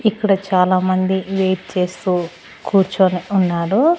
ఇక్కడ చాలామంది వెయిట్ చేస్తూ కూర్చొని ఉన్నాడు.